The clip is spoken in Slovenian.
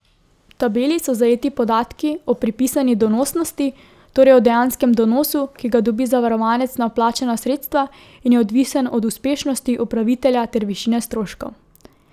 V tabeli so zajeti podatki o pripisani donosnosti, torej o dejanskem donosu, ki ga dobi zavarovanec na vplačana sredstva in je odvisen od uspešnosti upravitelja ter višine stroškov.